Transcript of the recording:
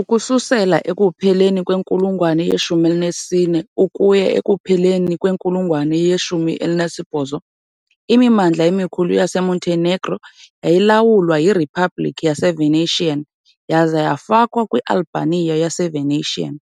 Ukususela ekupheleni kwenkulungwane ye-14 ukuya ekupheleni kwenkulungwane ye-18, imimandla emikhulu yaseMontenegro yayilawulwa yiRiphabliki yaseVenetian yaza yafakwa kwiAlbania yaseVenetian .